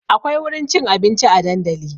Akwai wurin cin abinci a dandali